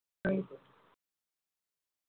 नाही